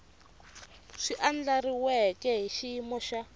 swi andlariweke hi xiyimo xa